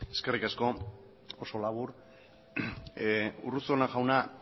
eskerrik asko oso labur urruzuno jauna